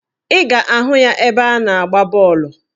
Ị ga-ahụ ya ebe a na-agba bọọlụ